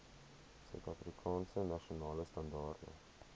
suidafrikaanse nasionale standaarde